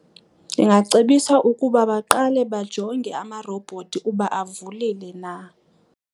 Ndingacebisa ukuba baqale bajonge amarobhothi uba avulile na.